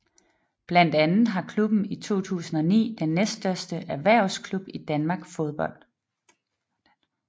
Blandt andet har klubben i 2009 den næststørste erhvervsklub i dansk fodbold